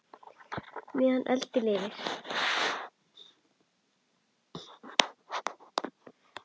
meðan öld lifir